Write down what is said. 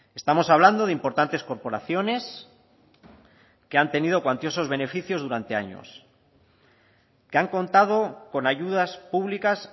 estamos hablando de importantes corporaciones que han tenido cuantiosos beneficios durante años que han contado con ayudas públicas